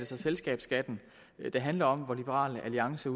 så selskabsskatten det handler om hvor liberal alliance